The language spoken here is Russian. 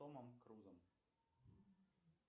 с томом крузом